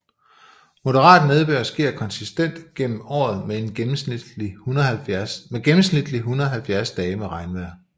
Moderat nedbør sker konsistent gennem året med gennemsnitligt 170 dage med regnvejr